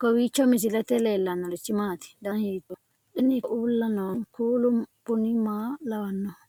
kowiicho misilete leellanorichi maati ? dana hiittooho ?badhhenni ikko uulla noohu kuulu kuni maa lawannoho?